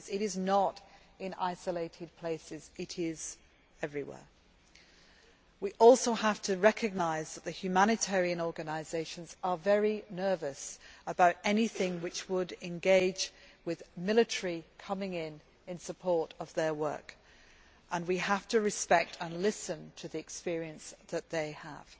2 It is not in isolated places, it is everywhere. We also have to recognise that the humanitarian organisations are very nervous about anything which would involve the military coming in in support of their work, and we have to respect and listen to the experience that they have.